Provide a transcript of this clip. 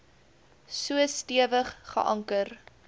so stewig geanker